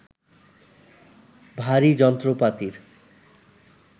ভারী যন্ত্রপাতির